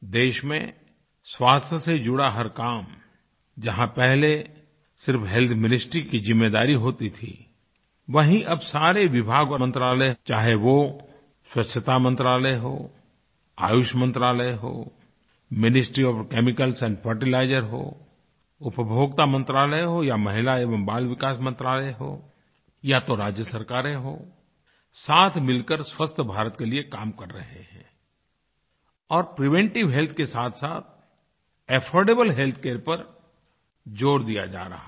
देश में स्वास्थ्य से जुड़ा हर काम जहाँ पहले सिर्फ हेल्थ मिनिस्ट्री की ज़िम्मेदारी होती थी वहीं अब सारे विभाग और मंत्रालय चाहे वो स्वच्छतामंत्रालय हो आयुषमंत्रालय हो मिनिस्ट्री ओएफ केमिकल्स एंड Fertilizersहो उपभोक्ता मंत्रालय हो या महिला एवं बाल विकास मंत्रालय हो या तो राज्य सरकारें हों साथ मिलकर स्वस्थभारत के लिए काम कर रहे हैं और प्रिवेंटिव हेल्थ के साथसाथ अफोर्डेबल हेल्थ के ऊपर ज़ोर दिया जा रहा है